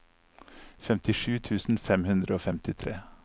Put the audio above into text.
femtisju tusen fem hundre og femtitre